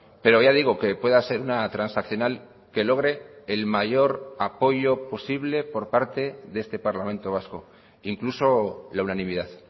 pero ya digo que pueda ser una transaccional que logre el mayor apoyo posible por parte de este parlamento vasco incluso la unanimidad